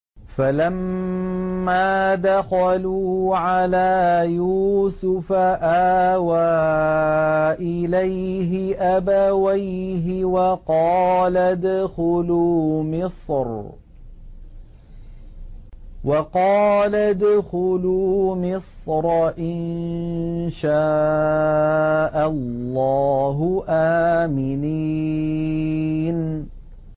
فَلَمَّا دَخَلُوا عَلَىٰ يُوسُفَ آوَىٰ إِلَيْهِ أَبَوَيْهِ وَقَالَ ادْخُلُوا مِصْرَ إِن شَاءَ اللَّهُ آمِنِينَ